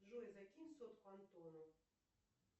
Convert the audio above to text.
джой закинь сотку антону